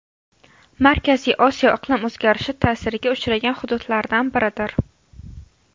Markaziy Osiyo iqlim o‘zgarishi ta’siriga uchragan hududlardan biridir.